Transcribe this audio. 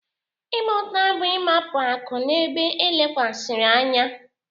Ịgba ụta bụ-igbapụ akụ n'ebe e lekwasịrị anya.